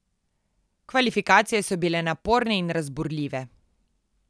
Kvalifikacije so bile naporne in razburljive.